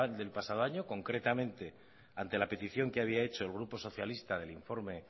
del pasado año concretamente ante la petición que había hecho el grupo socialista del informe